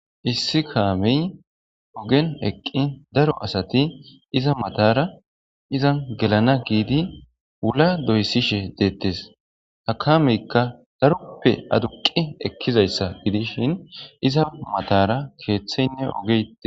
Issi kameyi ogeni eqqi daro asati izza matara izzanni gelana gidi wula doyisishshe detees.ha kameyikka daroppe adduqqi ekkizayissa gidishshin izza matara keththeyinne ogeyi de'es.